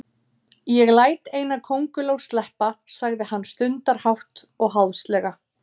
Ég læt eina kónguló sleppa, sagði hann stundarhátt og háðslega.